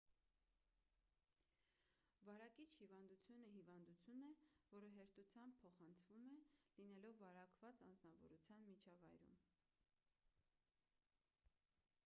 վարակիչ հիվանդությունը հիվանդություն է որը հեշտությամբ փոխանցվում է լինելով վարակված անձնավորության միջավայրում